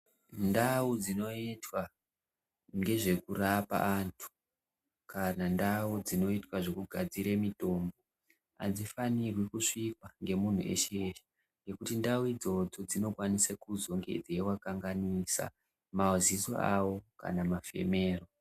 Ndau dzinoitwa ngezvekurapa antu kana ndau dzinoitwa zvekugadzire mutombo hadzifanirwi kusvikwa ngemuntu weshe ngekuti ndau idzodzo dzinokwanise kuzonge dzeivakanganisa maziso avo kana mafemero.